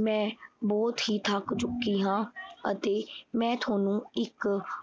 ਮੈਂ ਬਹੁਤ ਹੀ ਥੱਕ ਚੁੱਕੀ ਹਾਂ ਅਤੇ ਮੈਂ ਥੋਨੂੰ ਇੱਕ